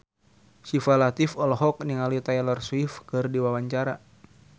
Syifa Latief olohok ningali Taylor Swift keur diwawancara